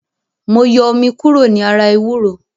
Mo yọ omi kúrò ní ara ewúro